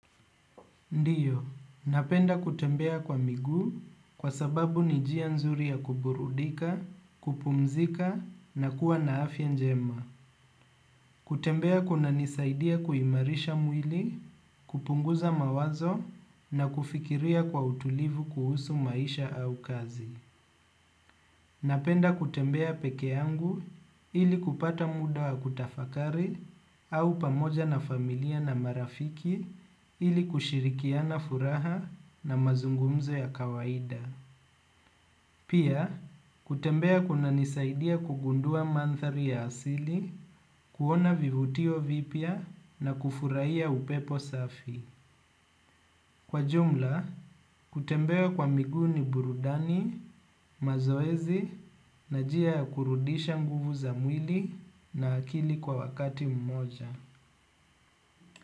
Ndiyo, napenda kutembea kwa miguu kwa sababu ni njia nzuri ya kuburudika, kupumzika na kuwa na afya njema. Kutembea kuna nisaidia kuimarisha mwili, kupunguza mawazo na kufikiria kwa utulivu kuhusu maisha au kazi. Napenda kutembea pekeyangu ilikupata muda wa kutafakari au pamoja na familia na marafiki ilikushirikiana furaha na mazungumzo ya kawaida. Pia, kutembea kunanisaidia kugundua manthari ya asili, kuona vivutio vipya na kufurahia upepo safi. Kwa jumla, kutembea kwa miguu ni burudani, mazoezi, na njia kurudisha nguvu za mwili na akili kwa wakati mmoja.